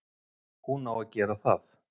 Hún á að gera það.